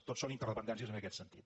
tot són interdependències en aquest sentit